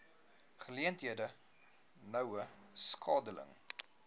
geleenthede noue skakeling